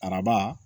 Araba